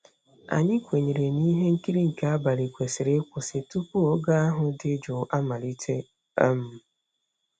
Anyị kwenyere na ihe nkiri nke abalị kwesịrị ịkwụsị tupu oge ahụ dị jụụ amalite. um